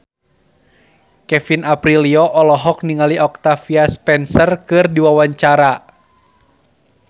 Kevin Aprilio olohok ningali Octavia Spencer keur diwawancara